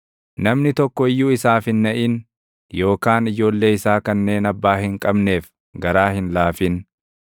Namni tokko iyyuu isaaf hin naʼin, yookaan ijoollee isaa kanneen abbaa hin qabneef garaa hin laafin.